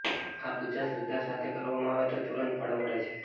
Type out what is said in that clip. આ પૂજા શ્રદ્ધા સાથે કરવામાં આવે તો તુરંત ફળ મળે છે